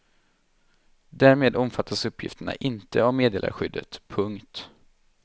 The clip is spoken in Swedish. Därmed omfattas uppgifterna inte av meddelarskyddet. punkt